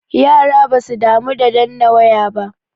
Yara basu damu da danna waya ba da.